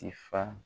Tifa